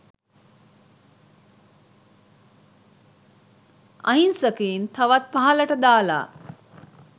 අහිංසකයින් තවත් පහළට දාලා